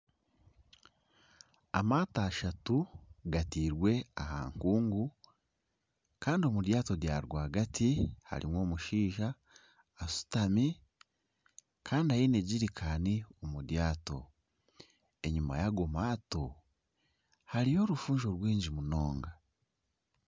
Amaato ashatu gatairwe aha nkungu. Kandi omu ryato rya rwagati harimu omushaija ashutami kandi aine jerikaani omu ryato. Enyima y'ago maato hariyo orufunjo rwingi munonga.